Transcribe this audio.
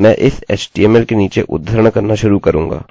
मैं इस html के नीचे उद्धरण करना शुरू करुँगा